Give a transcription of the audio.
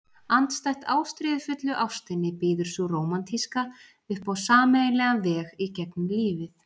Andstætt ástríðufullu ástinni býður sú rómantíska upp á sameiginlegan veg í gegnum lífið.